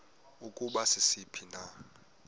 ukuba sisiphi na